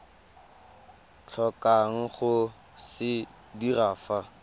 tlhokang go se dira fa